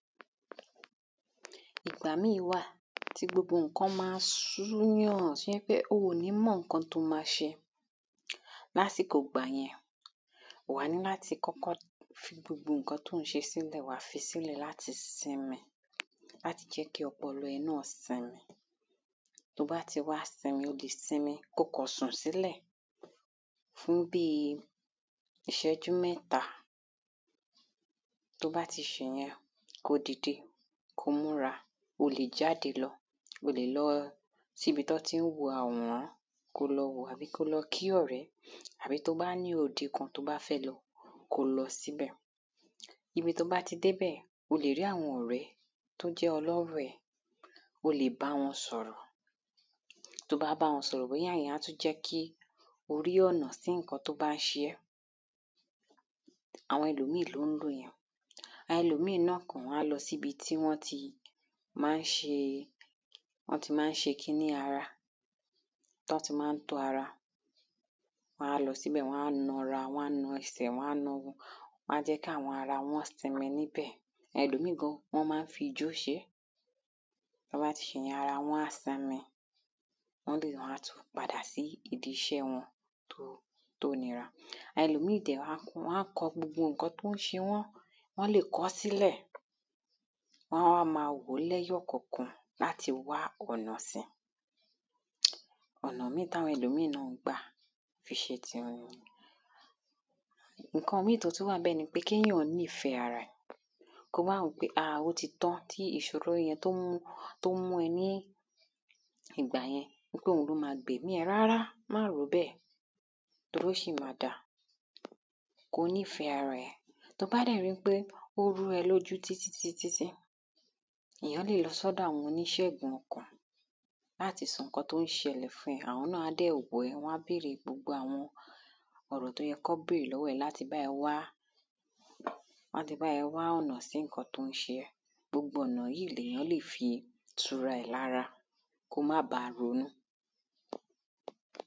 Ìgbà míì wà tí gbogbo nǹkan ma sú èyàn tí ó jẹ́ pé o ò ní mọ nǹkan tí o ma ṣe Ní àsìkò ìgbà yẹn wa ní láti kọ́kọ́ fi gbogbo nǹkan tí ò ń ṣe sílẹ̀ wàá fisílẹ̀ láti simi láti jẹ́ kí ọpọlọ ẹ náà simi Tí o bá tí wá simi o lè simi kí o kàn sùn sílẹ̀ fún bíi iṣẹ́jú mẹ́ta Tí o bá tí ṣe ìyẹn kí o dìde kí o múra O lè jáde lọ O lè lọ sí ibi tí wọ́n tí ń wo àwòrán kí o lọ wò ó àbí kí o lọ kí ọ̀rẹ́ àbí tí o bá ní òde kan tí ó bá fẹ́ lọ kí o lọ sí ibẹ̀ Ibi tí o bá tí dé ibẹ̀ o lè rí àwọn ọ̀rẹ́ tí o jẹ́ ọlọ́rọ̀ ẹ O lè bá wọn sọ̀rọ̀ Tí o bá bá wọn sọ̀rọ̀ bóyá ìyẹn a tún jẹ́ kí o rí ọ̀nà sí nǹkan tí o bá ń ṣe ẹ Àwọn ẹlòmíì ni ó ń lò yẹn Ẹlòmíì náà Wọ́n a lọ sí ibi tí wọ́n tí máa ń ṣe wọ́n tí máa ń ṣe kiní ara tí wọ́n ti máa ń tọ́ ara Wọn á lọ sí ibẹ̀ wọ́n á na ara wọn á na ẹsẹ̀ wọn náà Wọ́n á jẹ́ kí àwọn ara wọn simi ní ibẹ̀ Ẹlòmíì gan wọ́n máa ń fi ijó ṣe é Tí wọ́n bá tí ṣe ìyẹn ara wọn á simi Wọ́n lè wá tún padà sí ìdí iṣẹ́ wọn tí ó tí ó nira Ẹlòmíì dẹ wọ́n a kọ wọ́n á kọ gbogbo nǹkan tí ó ń ṣe wọ́n Wọ́n lè kọ ọ́ sílẹ̀ Wọ́n á wá ma wò ó ní ẹyọ kọ̀ọ̀kan láti wá ọ̀nà si Ọ̀nà míì tí àwọn ẹlòmíì náà ń gbà fi ṣe tí wọn nìyẹn Nǹkan míì tí ó tún wà ń bẹ̀ ni pé kí èyàn nífẹ̀ẹ́ ara ẹ̀ Kí o wá wo pé a ó tí tan tí ìṣòro yẹn tí ó mú tí ó mú ẹ ní ìgbà yẹn wípé òun ni ó gba ẹ̀mí ẹ Rárá má rò ó bẹ́ẹ̀ torí ó ṣì máa da Kí o ní ìfẹ́ ara ẹ Tí o bá dẹ̀ ri ń pé ó rú ẹ ní ojú títí títí tí èyàn lè lọ sí ọ̀dọ̀ àwọn oníṣègùn ọkàn láti sọ nǹkan tí ó ń ṣẹlẹ̀ fún ẹ Àwọn náà á dẹ̀ wò ẹ́ wọ́n á bèrè gbogbo àwọn ọ̀rọ̀ tí ó yẹ kí wọ́n bèrè lọ́wọ́ ẹ láti bá ẹ wá láti bá ẹ wá ọ̀nà sí nǹkan tí ó ń ṣe ẹ Gbogbo ọ̀nà yìí ni èyàn lè fi tu ara ẹ lára kí o má ba ronú